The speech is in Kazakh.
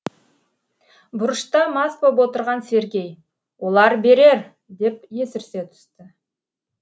бұрышта мас боп отырған сергей олар берер деп есірсе түсті